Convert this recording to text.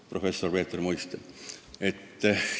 " Professor Peeter Muiste ütles nii!